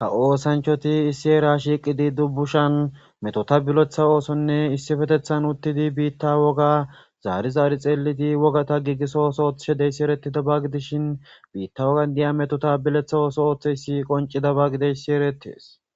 ha oosanchoti issi era shiiqidi dubbushan metota biletha oosonne issifetethan uttidi biitta woga zaari zaari xeelidi wogata giigiso osooth shedeyssi eretida ba gidishin biitta wogan diya meto tabiletha ooso ooththe yssi qoncida ba gideyssi erettees